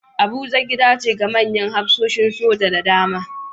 Abuja gida ce ga manyan hafsoshin soja da dama